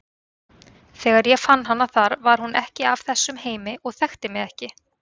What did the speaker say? Þegar ég fann hana þar var hún ekki af þessum heimi og þekkti mig ekki.